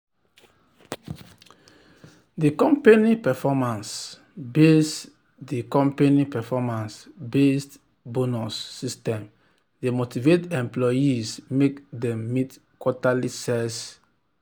d company performance-based d company performance-based bonus system dey motivate employees make dem meet quarterly sales targets